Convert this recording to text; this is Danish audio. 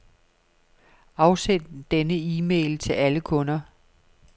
Afsend denne e-mail til alle kunder.